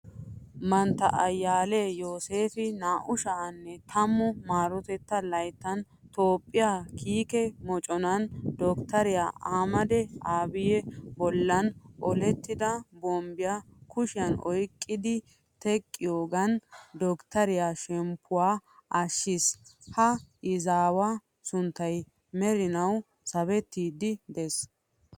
Mantta ayyaaliya yooseefi 2010 maarotettaa layttan toophphiya kiike moconaa doktteriya ahimeda abiyi bollan olettida bombbiya kushiyan oyqqidi teqqiyogan doktteriya shemppuwa ashshiis. Ha izaawaa sunttay merinawu sabettiiddi de'ees.